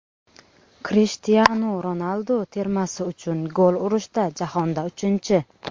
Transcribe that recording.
Krishtianu Ronaldu termasi uchun gol urishda jahonda uchinchi.